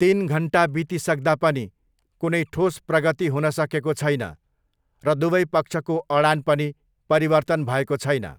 तिन घन्टा बितिसक्दा पनि कुनै ठोस प्रगति हुन सकेको छैन र दुवै पक्षको अडान पनि परिवर्तन भएको छैन।